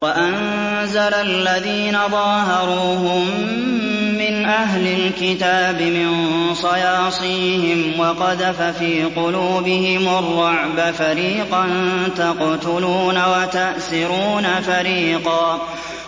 وَأَنزَلَ الَّذِينَ ظَاهَرُوهُم مِّنْ أَهْلِ الْكِتَابِ مِن صَيَاصِيهِمْ وَقَذَفَ فِي قُلُوبِهِمُ الرُّعْبَ فَرِيقًا تَقْتُلُونَ وَتَأْسِرُونَ فَرِيقًا